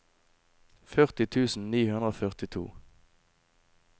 førti tusen ni hundre og førtito